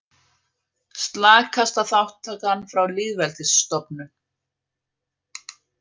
Slakasta þátttakan frá lýðveldisstofnun